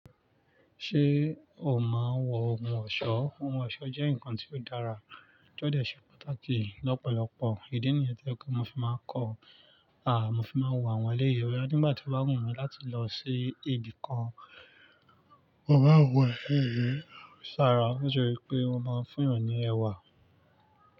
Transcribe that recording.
Ṣé o máa ń wọ ohun ọ̀ṣọ́? Ohun ọ̀ṣọ́ jẹ́ nǹkan tí ó dára, ó jẹ́ ọ̀dẹ̀ ṣe pàtàkì lọ́pọ̀lọpọ̀. Ìdí nìyẹn tó yẹ ke fi máa kọ́ a mo fi máa wọ àwọn eléyìí oya nígbà tí ó bá wù mí láti lọ sí ibì kan. Mo máa ń wọ ẹlẹ́yìí sí ara nítorí pé mo máa ń fún èèyàn ní ẹwà.